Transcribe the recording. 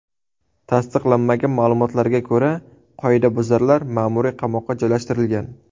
Tasdiqlanmagan ma’lumotlarga ko‘ra, qoidabuzarlar ma’muriy qamoqqa joylashtirilgan.